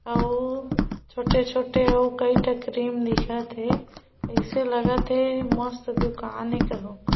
औउ छोटे- छोटे ओ कई ठे क्रीम दिखत हे ऐसे लगत हे मस्त दुकान है कहू क --